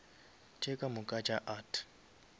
tše ka moka tša art